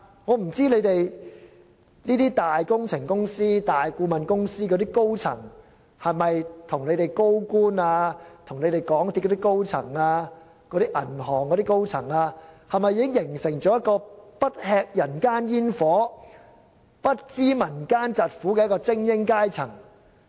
我不知道大型工程公司及大型顧問公司的高層是否已經與政府高官、港鐵公司高層和銀行高層形成一個不吃人間煙火、不知民間疾苦的精英階層。